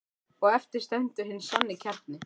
Og eftir stendur hinn sanni kjarni.